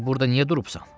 Di burda niyə durubsan?